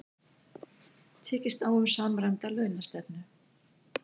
Tekist á um samræmda launastefnu